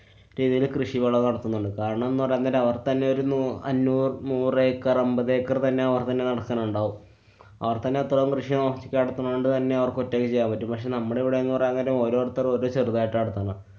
രീതിയില് കൃഷി വെളവ് നടത്തുന്നുണ്ട്. കാരണംന്നുപറയാന്‍ നേരം അവര്‍ത്തന്നെ ഒരു നൂ~ അഞ്ഞൂര്‍ നൂറു acre അമ്പതേ acre തന്നെ അവര്‍തന്നെ നടക്കണുണ്ടാവും. അവര്‍തന്നെ അത്രയും കൃഷി നോക്കി നടത്തുണോണ്ട് തന്നെ അവര്‍ക്കൊറ്റക്ക് ചെയ്യാന്‍ പറ്റും. പക്ഷെ നമ്മടെ ഇവടെന്നു പറയാന്‍ നേരം ഓരോരുത്തര്‍ ഓര് ചെറുതായിട്ടാ നടത്തുന്നെ